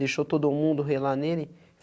Deixou todo mundo relar nele?